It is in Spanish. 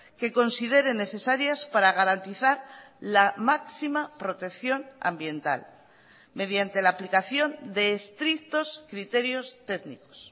que consideren necesarias para garantizar la máxima protección ambiental mediante la aplicación de estrictos criterios técnicos